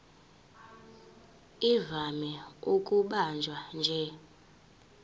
ivame ukubanjwa nje